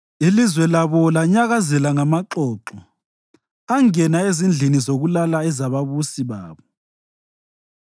Ilizwe labo lanyakazela ngamaxoxo, angena ezindlini zokulala ezababusi babo.